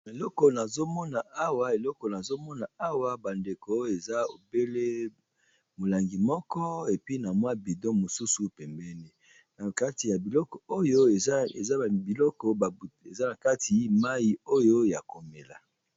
Eleko nazo mona awa, eloko nazo Mona Awa ba ndeko eza obele molangi moko epi na mwa bidon mosusu pembeni na kati ya biloko oyo eza biloko eza na kati mayi oyo ya komela.